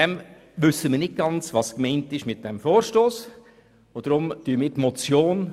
Deshalb wissen wir nicht ganz, was mit diesem Vorstoss gemeint ist.